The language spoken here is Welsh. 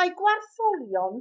mae gwartholion